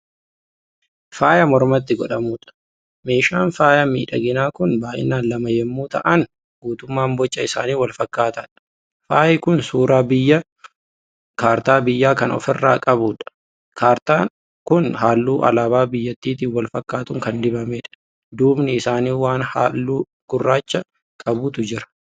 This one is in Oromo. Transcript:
Faaya mormatti godhatamuudha. meeshaan faaya miidhaginaa Kuni baay'inaan lama yommuu ta'an guutummaan Boca isaanii wal fakkaataadha. faayi Kuni suuraa kaartaa biyyaa Kan ofirraa qabudha. kaartaan Kuni halluu alaabaa biyyattiitiin walfakkatuun Kan dibamedha. duubni isaanii waan halluu gurraacha qabutu Jira.